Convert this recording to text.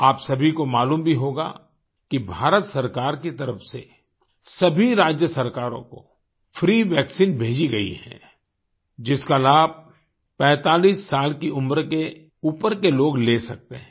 आप सभी को मालूम भी होगा कि भारत सरकार की तरफ से सभी राज्य सरकारों को फ्री वैक्सीन भेजी गई है जिसका लाभ 45 साल की उम्र के ऊपर के लोग ले सकते हैं